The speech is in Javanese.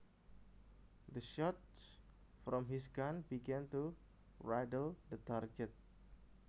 The shots from his gun began to riddle the target